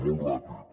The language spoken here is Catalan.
molt ràpid